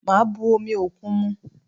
Màá bu omi òkun mu